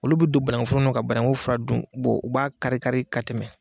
Olu bɛ don banakun foro nɔ ka banakun furaw dun u b'a kari kari ka tɛmɛ.